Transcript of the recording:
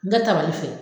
N ka tabali fɛ